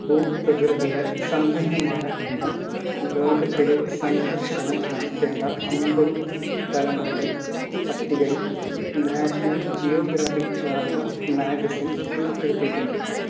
ഭൂപ്രകൃതിയാൽ സമ്പന്നമായ ഇവിടം ലോകത്തിലെ സന്ദർശനം നടത്തേണ്ട അമ്പതു സ്ഥലങ്ങളുടെ പട്ടികയിൽ National Geographic Traveller Magazine ഉൾപ്പെടുത്തിയിട്ടുണ്ട്